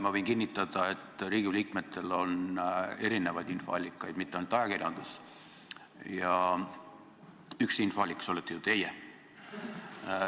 Ma võin kinnitada, et Riigikogu liikmetel on erinevaid infoallikaid, mitte ainult ajakirjandus, ja üks infoallikas olete ju teie.